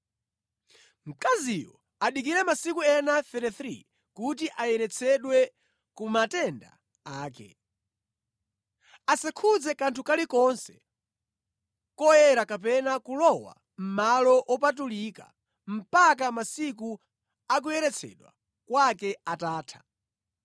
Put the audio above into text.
Mkaziyo adikire masiku ena 33 kuti ayeretsedwe ku matenda ake. Asakhudze kanthu kalikonse koyera kapena kulowa mʼmalo wopatulika mpaka masiku a kuyeretsedwa kwake atatha.